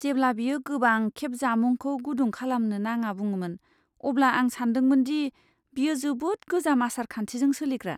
जेब्ला बियो गोबां खेब जामुंखौ गुदुं खालामनो नाङा बुंङोमोन, अब्ला आं सानदोंमोनदि बियो जोबोद गोजाम आसार खान्थिजों सोलिग्रा।